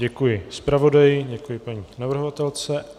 Děkuji zpravodaji, děkuji paní navrhovatelce.